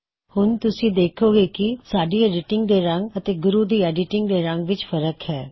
ਹੁਣ ਤੁਸੀਂ ਦੇਖੋਂਗੇ ਕੀ ਸਾਡੀ ਐੱਡਿਟਿੰਗ ਦੇ ਰੰਗ ਅਤੇ ਗੁਰੂ ਦੀ ਐੱਡਿਟਿੰਗ ਦੇ ਰੰਗ ਵਿੱਚ ਫਰ੍ਕ ਹੈ